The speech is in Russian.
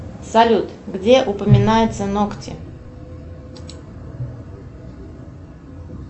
салют где упоминаются ногти